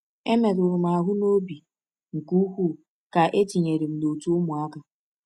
E merụrụ m ahụ n’obi nke ukwuu ka e tinyere m n’òtù ụmụaka.